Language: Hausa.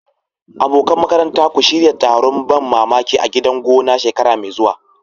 Abokan makaranta, ku shirya taron ban mamaki a gidan gona shekara mai zuwa.